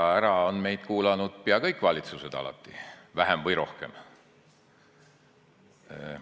Ei, ära on meid kuulanud peaaegu kõik valitsused alati, vähem või rohkem.